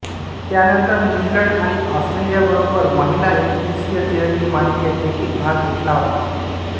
त्यानंतर न्यूझीलंड आणि ऑस्ट्रेलियाबरोबर महिला एकदिवसीय तिरंगी मालिकेत देखील भाग घेतला होता